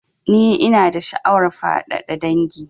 Ni ina da sha'awar faɗaɗa dangin